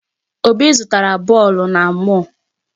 Obi zụtara bọọlụ na mall.